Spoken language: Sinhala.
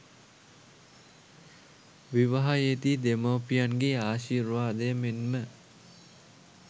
විවාහයේ දී දෙමාපියන්ගේ ආශීර්වාදය මෙන්ම